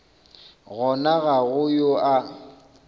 gona ga go yo a